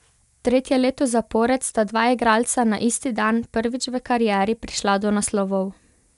Tretje leto zapored sta dva igralca na isti dan prvič v karieri prišla do naslovov.